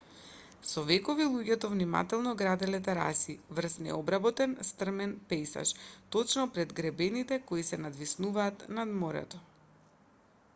со векови луѓето внимателно граделе тераси врз необработен стрмен пејзаж точно пред гребените кои се надвиснуваат над морето